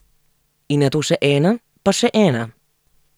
In nato še ena, pa še ena ...